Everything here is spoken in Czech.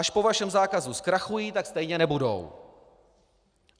Až po vašem zákazu zkrachují, tak stejně nebudou.